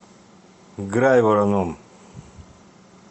грайвороном